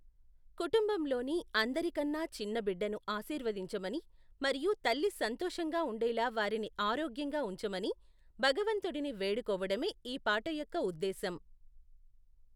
కుటుంబంలోని అందరికన్నా చిన్న బిడ్డను ఆశీర్వదించమని మరియు తల్లి సంతోషంగా ఉండేలా వారిని ఆరోగ్యంగా ఉంచమని భగవంతుడిని వేడుకోవడమే ఈ పాట యొక్క ఉద్దేశం.